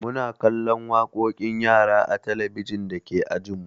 Muna kallon waƙoƙin yara a talabijin dake ajinmu.